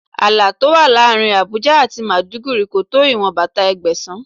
Ààlà tó wà láàárín Àbújá àti Màdúgùri kò tó ìwọn bàtà Ẹgbẹ̀sán.